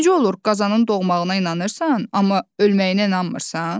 Necə olur qazanın doğmağına inanırsan, amma ölməyinə inanmırsan?